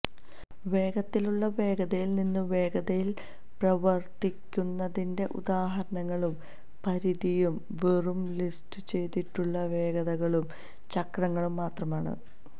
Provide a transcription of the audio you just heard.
വേഗത്തിലുള്ള വേഗതയിൽ നിന്ന് വേഗതയിൽ പ്രവർത്തിപ്പിക്കുന്നതിന്റെ ഉദാഹരണങ്ങളും പരിധിയും വെറും ലിസ്റ്റുചെയ്തിട്ടുള്ള വേഗതകളും ചക്രങ്ങളും മാത്രമാണ്